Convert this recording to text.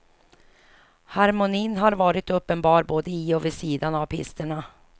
Harmonin har varit uppenbar både i och vid sidan av pisterna.